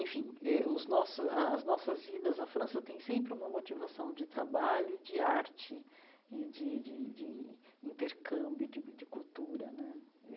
Enfim eh, os nossa ah as nossas idas, a França tem sempre uma motivação de trabalho, de arte, eh de de de intercâmbio, de de cultura né eh.